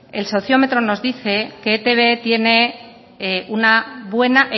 que e i te be tiene una buena